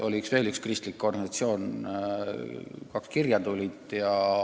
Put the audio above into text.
Oli veel üks kristlik organisatsioon, meile tuli kaks kirja.